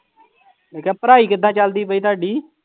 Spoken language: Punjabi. ਮੈਂ ਕਿਹਾ ਪੜ੍ਹਾਈ ਕਿੱਦਾਂ ਚੱਲਦੀ ਪਈ ਤੁਹਾਡੀ?